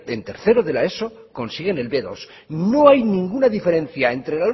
en tercera de la eso consiguen el be dos no hay ninguna diferencia entre